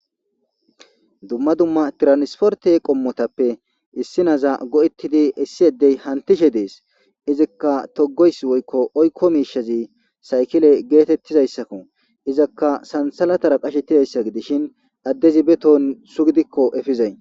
Dumma dumma tiransforte qommotappe issi naza go7ettidi issi yaddey hantishe dees izikka togoys woyikko oykko miishazi saykile geetettizayssakko izakka sansalatara qashettidayssa gidishin addezi beton su gidikko efizay